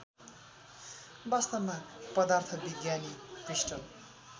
वास्तवमा पदार्थविज्ञानी क्रिस्टल